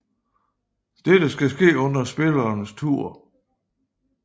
Dette skal ske under spillerens tur